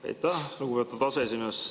Aitäh, lugupeetud aseesimees!